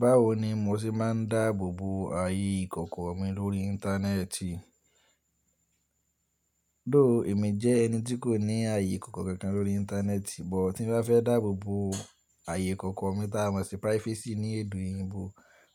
Báwo ni mo ṣe máa ń dáàbò bo ààyè ìkọ̀kọ̀ mi lórí Íńtánẹ́ẹ̀tì? Dòó èmi jẹ́ ẹni tí kò ní ààyè ìkọ̀kọ̀ kankan lórí Íńtánẹ́ẹ̀tì, but tí mo bá fẹ́ dáàbò bo ààyè ìkọ̀kọ̀ mi tí a mọ̀ sí privacy ní èdè òyìnbó,